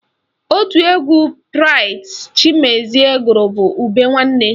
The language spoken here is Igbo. Otu egwu Braịt Chimezie gụrụ bụ Ube Nwanne